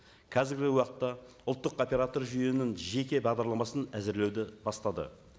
қазіргі уақытта ұлттық оператор жүйенің жеке бағдарламасын әзірлеуді бастады